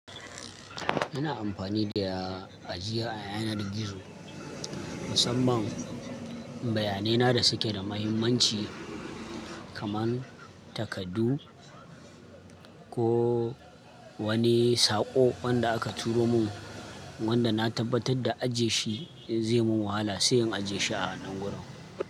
Ina amfani da ajiya a yanar gizo musamman bayanai na da suke da muhimmanci kamar takardu ko wani saƙo wanda aka turo mun wanda na tabbatar da ajiye shi zai mun wahala sai in ajiye shi a ɗangoro.